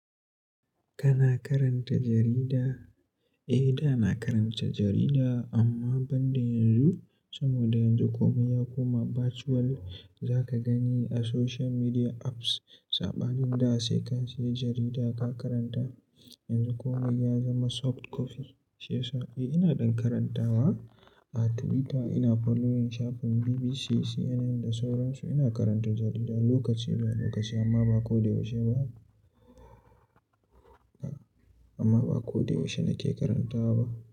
Kana karanta Jarida? Eh, da na karanta Jarida amma ban da yanzu saboda yanzu komai ya koma virtual. Za ka gani a social media apps. Saɓanin da sai ka sayi Jarida ka karanta, yanzu komai ya zama soft copy. She-sha, eh ina ɗan karantawa a Twitter ina following shafin BBC, CNN da sauransu. Ina karanta Jarida lokaci zuwa lokaci amma ba ko da yaushe ba. Amma ba ko da yaushe nake karanta ba.